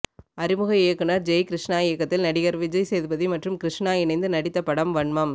அறிமுக இயக்குனர் ஜெய் கிருஷ்ணா இயக்கத்தில் நடிகர் விஜய் சேதுபதி மற்றும் கிருஷ்ணா இணைந்து நடித்த படம் வன்மம்